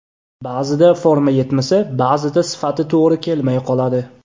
Ba’zida forma yetmasa, ba’zida sifati to‘g‘ri kelmay qoladi.